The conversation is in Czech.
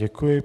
Děkuji.